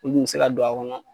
U nin bɛ se ka don a kɔnɔ